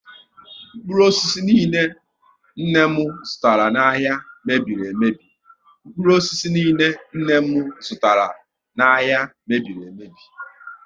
Mkpụrụ osisi niile nne m zụtara n'ahia mebiri emebi